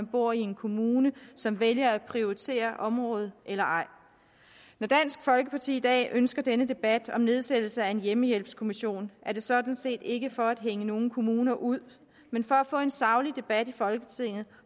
bor i en kommune som vælger at prioritere området eller ej når dansk folkeparti i dag ønsker denne debat om nedsættelse af en hjemmehjælpskommission er det sådan set ikke for at hænge nogen kommuner ud men for at få en saglig debat i folketinget